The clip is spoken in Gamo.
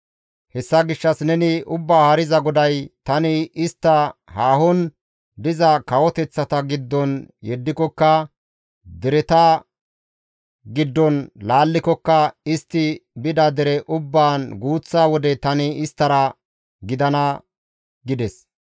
«Hessa gishshas neni, ‹Ubbaa Haariza GODAY: tani istta haahon diza kawoteththata giddon yeddikokka, dereta giddon laallikokka, istti bida dere ubbaan guuththa wode tani isttara gidana› gides.